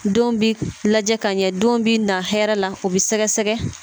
Don bɛ lajɛ ka ɲɛ don bɛ na hɛrɛ la u bɛ sɛgɛsɛgɛ